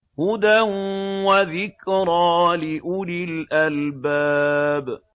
هُدًى وَذِكْرَىٰ لِأُولِي الْأَلْبَابِ